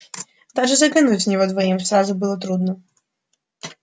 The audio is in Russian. даже заглянуть в него двоим сразу было трудно